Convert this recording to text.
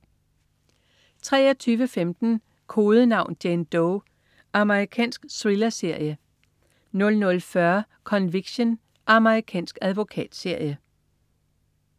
23.15 Kodenavn: Jane Doe. Amerikansk thrillerserie 00.40 Conviction. Amerikansk advokatserie